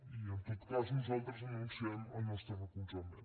i en tot cas nosaltres anunciem el nostre recolzament